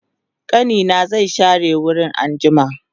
ƙanina zai share wurin anjima